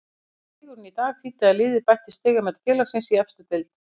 Sigurinn í dag þýddi að liðið bætti stigamet félagsins í efstu deild.